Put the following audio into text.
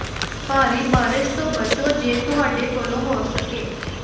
ਭਾਰੀ ਬਾਰਸ਼ ਤੋਂ ਬਚੋ ਜੇ ਤੁਹਾਡੇ ਕੋਲੋਂ ਹੋ ਸਕੇ